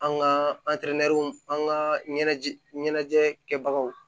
An ka an ka ɲɛnajɛ ɲɛnajɛ kɛbagaw